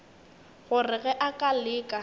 gore ge a ka leka